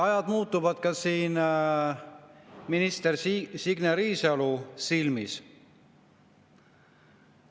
Ajad muutuvad ka minister Signe Riisalo silmis.